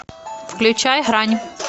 включай грань